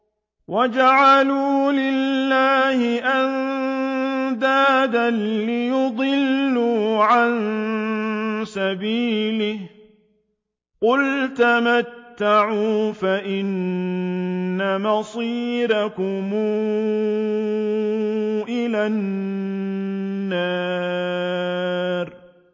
وَجَعَلُوا لِلَّهِ أَندَادًا لِّيُضِلُّوا عَن سَبِيلِهِ ۗ قُلْ تَمَتَّعُوا فَإِنَّ مَصِيرَكُمْ إِلَى النَّارِ